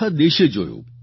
આખા દેશે જોયું